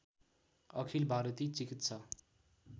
अखिल भारती चिकित्सा